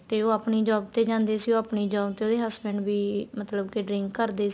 ਤੇ ਉਹ ਆਪਣੀ job ਤੇ ਜਾਂਦੇ ਸੀ ਉਹ ਆਪਣੀ job ਤੇ ਉਹਦੇ husband ਵੀ ਮਤਲਬ ਕੇ drink ਕਰਦੇ ਸੀ